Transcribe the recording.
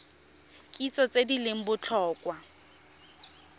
kitso tse di leng botlhokwa